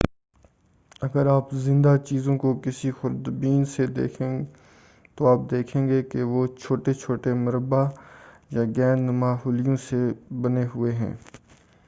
اگر آپ زندہ چیزوں کو کسی خوردبین سے دیکھیں تو آپ دیکھیں گے کہ وہ چھوٹے چھوٹے مربع یا گیند نما خلیوں سے بنے ہوئے ہیں